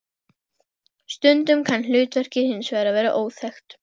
Stundum kann hlutverkið hins vegar að vera óþekkt.